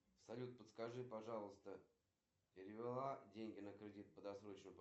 как и ежемесячный платеж деньги сегодня не списали почему